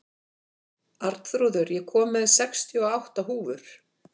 Arnþrúður, ég kom með sextíu og átta húfur!